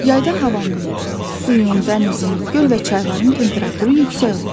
Yayda havanın, suyun, dənizin, göl və çayların temperaturu yüksək olur.